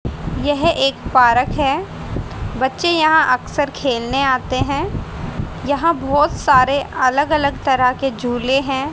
यह एक पारक है बच्चे यहां अक्सर खेलने आते हैं यहां बहोत सारे अलग अलग तरह के झूले हैं।